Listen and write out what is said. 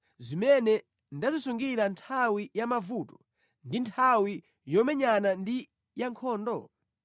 zimene ndazisungira nthawi ya mavuto ndi nthawi yomenyana ndi ya nkhondo?